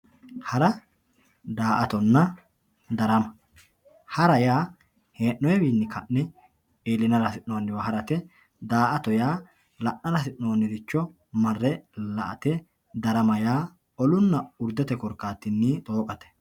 Hara, daa'atonna, daramma, hara yaa hee'noyiwini ka'ne iilinara hasinoniwa harate yaate, daa'atto yaa la'nara hasinoniricho marre la'ate, darama yaa olunna uridete korikatinni xooqatte